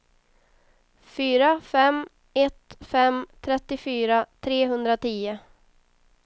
fyra fem ett fem trettiofyra trehundratio